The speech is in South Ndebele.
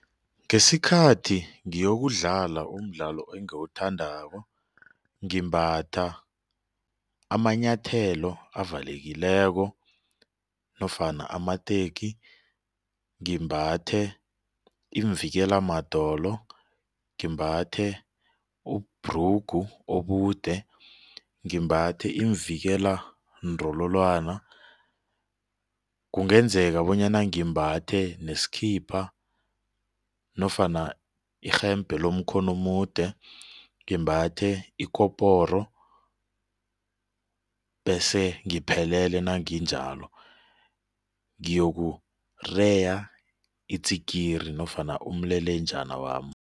Ngesikhathi ngiyokudlala umdlalo engiwuthandako ngimbatha amanyathelo avalekileko nofana amateki ngimbathe iimvikela madolo, ngimbathe ubhrugu obude, ngimbathe iimvikela ndololwana kungenzeka bonyana ngimbathe nesikhipha nofana irhembhe lomkhono omude, ngimbathe ikoporo bese ngiphelele nanginjalo ngiyokureya itsikiri nofana umlelenjani wami.